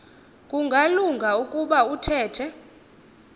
kungalunga ukuba uthethe